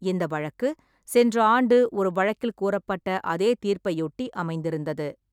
இந்த வழக்கு, சென்ற ஆண்டு ஒரு வழக்கில் கூறப்பட்ட அதே தீர்ப்பையொட்டி அமைந்திருந்தது.